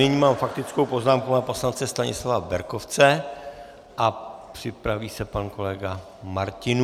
Nyní mám faktickou poznámku pana poslance Stanislava Berkovce a připraví se pan kolega Martinů.